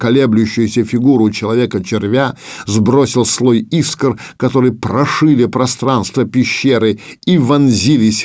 колеблющиеся фигуру человека червя сбросил слой искр который прошили пространство пещеры и вонзились